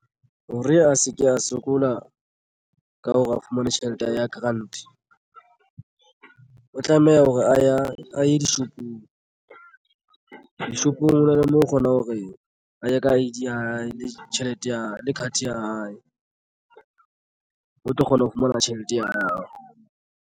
Hore a sevke a sokola ka hore a fumane tjhelete ya grant o tlameha hore a ye dishopong. Dishopong hona le moo o kgona hore a ye ka I_D ya hae le tjhelete ya hae le card ya hae o tlo kgona ho fumana tjhelete ya hao.